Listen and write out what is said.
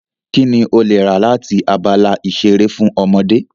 Kí ni o lè rà láti abala ìṣeré fún ọmọdé?